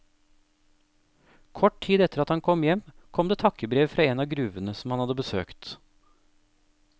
Kort tid etter at han kom hjem, kom det takkebrev fra en av gruvene som han hadde besøkt.